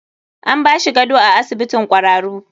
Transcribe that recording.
An bashi gado a asibitin kwararu.